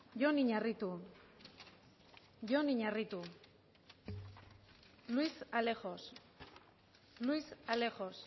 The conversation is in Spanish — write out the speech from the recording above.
jon iñarritu jon iñarritu luis alejos luis alejos